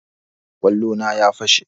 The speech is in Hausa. Kwallo na ya fashe